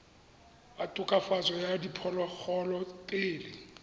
wa tokafatso ya diphologolo pele